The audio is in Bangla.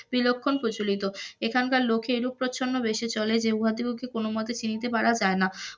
বিলক্ষণ প্রচলিত এখানকার লোকের এরূপ প্রছন্ন বেশি চলে, যে উহাদিগকে কোন মতে চিনিতে পারা যায় না,